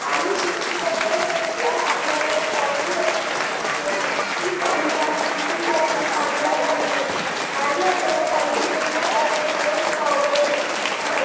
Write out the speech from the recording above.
आणि शेतीच्या त्या साइड ला आपल्याला एक कॉलनी वसलेली दिसतिये ती कॉलनी आहे कुसुंबीयातली पांजरा कॉलनी आणि आपल्याला कॉलनी च्या ह्या साइड ला दोन टॉवर ही दिसत आहे.